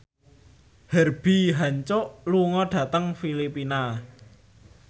Herbie Hancock lunga dhateng Filipina